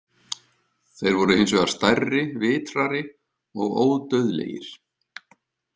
Þeir voru hins vegar stærri, vitrari og ódauðlegir.